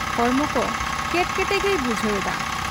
ᱦᱚᱲᱢᱚᱠᱚ ᱠᱮᱴᱠᱮᱴᱮ ᱜᱮᱭ ᱵᱩᱡᱷᱟᱹᱣ ᱮᱫᱟ ᱾